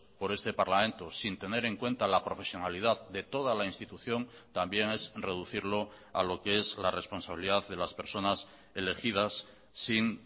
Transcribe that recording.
por este parlamento sin tener en cuenta la profesionalidad de toda la institución también es reducirlo a lo que es la responsabilidad de las personas elegidas sin